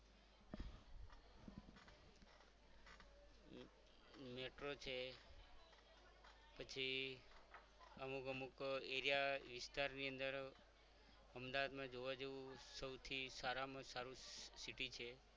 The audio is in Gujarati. Metro છે પછી અમુક અમુક area વિસ્તારની અંદર અમદાવાદમાં જોવા જેવું સૌથી સારામાં સારું city છે.